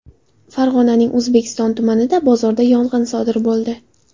Farg‘onaning O‘zbekiston tumanidagi bozorda yong‘in sodir bo‘ldi.